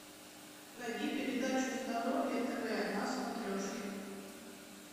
найди передачу здоровье тв на смотрешке